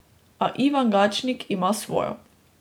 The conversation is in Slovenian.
A Ivan Gačnik ima svojo.